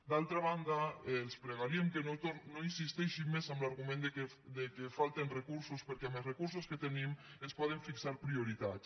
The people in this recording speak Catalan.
d’altra banda els pregaríem que no insisteixin més en l’argument que falten recursos perquè amb els recur·sos que tenim es poden fixar prioritats